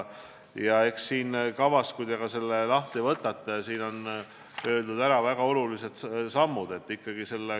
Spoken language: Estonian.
Kui te selle kava lahti võtate, siis näete, et kirjas on väga olulised sammud.